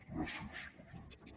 gràcies presidenta